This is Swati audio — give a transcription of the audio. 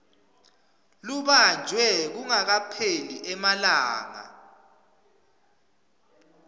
lubanjwe kungakapheli emalanga